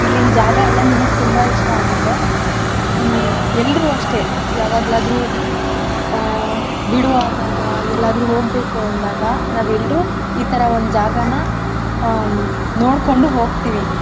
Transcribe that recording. ಇಲ್ಲಿನ್ ಜಾಗ ಎಲ್ಲಾ ನಿಮಿಗ್ ತುಂಬಾ ಇಷ್ಟ ಆಗತ್ತೆ. ಹ್ಮ್‌ ಎಲ್ರು ಅಷ್ಟೇ ಯಾವಾಗ್ಲಾದ್ರು ಆ ಬಿಡುವಾದಾಗ ಎಲ್ಲಾದ್ರು ಹೋಗ್ಬೇಕು ಅಂದಾಗ ನಾವೆಲ್ರು ಈತರ ಒಂದ್ ಜಾಗಾನ ಆ ನೋಡ್ಕೊಂಡು ಹೋಗ್ತಿವಿ.